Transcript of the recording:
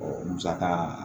musaka